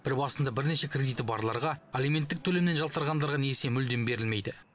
бір басында бірнеше кредиті барларға алименттік төлемнен жалтарғандарға несие мүлдем берілмейді